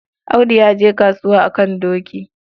Audu ya je kasuwa a kan doki.